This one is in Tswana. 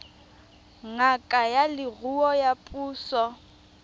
ngaka ya leruo ya puso